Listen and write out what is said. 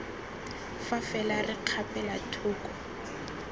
fa fela re kgapela thoko